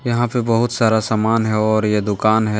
यहां पे बहुत सारा सामान है और ये दुकान है।